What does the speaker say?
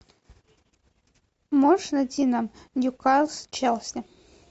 можешь найти нам ньюкасл челси